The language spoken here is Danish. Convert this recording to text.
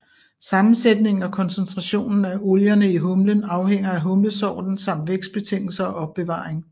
Sammensætningen og koncentrationen af olierne i humlen afhænger af humlesorten samt vækstbetingelser og opbevaring